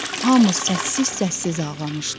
Hamı səssiz-səssiz ağlamışdı.